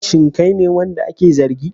Shin kai ne wanda ake zargi?